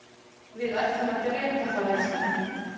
Við ætlum að drepa þá elskan.